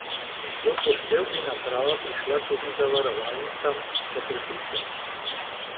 V poštev bi naprava prišla tudi zavarovalnicam, so prepričani.